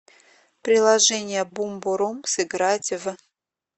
приложение бумбурум сыграть в